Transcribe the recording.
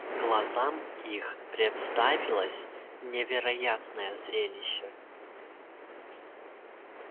глазам их представилось невероятное зрелище